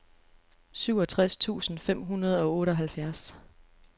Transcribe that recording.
syvogtres tusind fem hundrede og otteoghalvfjerds